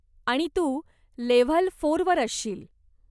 आणि तू लेव्हल फोरवर असशील.